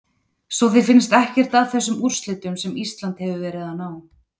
Svo þér finnst ekkert að þessum úrslitum sem Ísland hefur verið að ná?